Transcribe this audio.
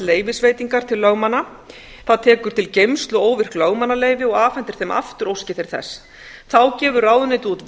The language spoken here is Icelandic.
leyfisveitingar til lögmanna það tekur til geymslu óvirk lögmannsleyfi og afhendir þeim aftur óski þeir þess þá gefur ráðuneytið út